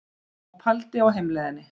Og pældi á heimleiðinni.